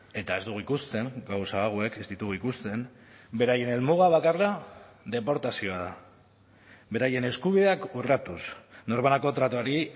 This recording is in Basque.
eta ez dugu ikusten gauza hauek ez ditugu ikusten beraien helmuga bakarra deportazioa da beraien eskubideak urratuz norbanako tratuari